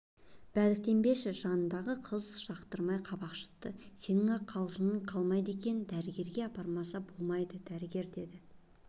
бәдіктенбеші жанындағы қыз жақтырмай қабақ шытты сенің-ақ қалжыңың қалмайды екен дәрігерге апармаса болмайды дәрігер дейді